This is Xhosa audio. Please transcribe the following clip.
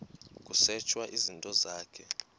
kusetshwe izinto zakho